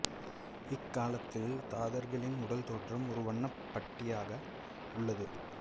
இக்காலத்தில் தாதர்களின் உடல் தோற்றம் ஒரு வண்ணப் பட்டியாக உள்ளது